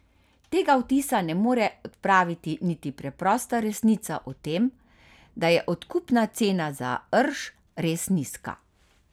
Tega vtisa ne more odpraviti niti preprosta resnica o tem, da je odkupna cena za rž res nizka.